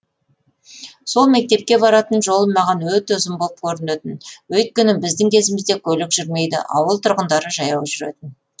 сол мектепке баратын жолым маған өте ұзын болып көрінетін өйткені біздің кезімізде көлік жүрмейді ауыл тұрғындары жаяу жүретін